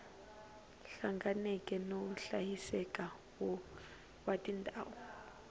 hlanganeke no hlayiseka wa tindhawu